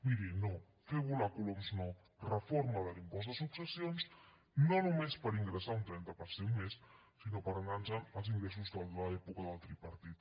miri no fer volar coloms no reforma de l’impost de successions no només per ingressar un trenta per cent més sinó per anar nos en als ingressos de l’època del tripartit